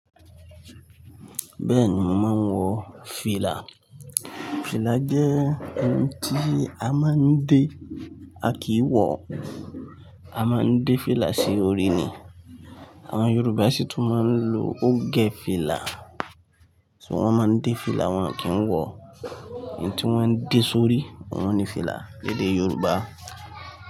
Bẹ́ẹ̀ni, mò ń wọ fìlà. Fìlà jẹ́ ohun tí a máa ń dé, a kìí wọ. A máa ń dé fìlà sí orí ni. Àwọn Yorùbá sì tún máa ń lo ogẹ fìlà. Ṣugbọn wọ́n máa ń dé fìlà, wọ́n à kì ń wọ. Ẹyí tí wọ́n ń dé sórí, ohun ní fìlà ní èdè Yorùbá.